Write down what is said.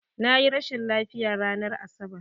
Na yi rashin lafiya ranar Asabar.